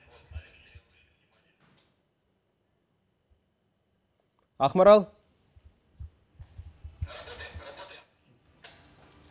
ақмарал